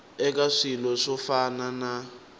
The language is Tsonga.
eka swilo swo fana na